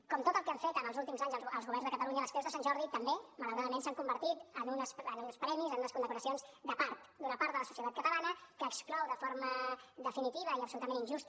com tot el que han fet en els últims anys els governs de catalunya les creus de sant jordi també malauradament s’han convertit en uns premis en unes condecoracions de part d’una part de la societat catalana que exclou de forma definitiva i absolutament injusta